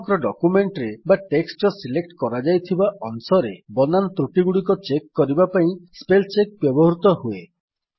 ସମଗ୍ର ଡକ୍ୟୁମେଣ୍ଟ୍ ରେ ବା ଟେକ୍ସଟ୍ ର ସିଲେକ୍ଟ କରାଯାଇଥିବା ଅଂଶରେ ବନାନ ତ୍ରୁଟିଗୁଡିକ ଚେକ୍ କରିବା ପାଇଁ ସ୍ପେଲ୍ ଚେକ୍ ବ୍ୟବହୃତ ହୁଏ